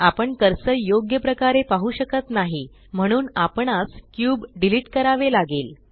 आपण कर्सर योग्य प्रकारे पाहु शकत नाही म्हणून आपणास क्यूब डिलीट करावे लागेल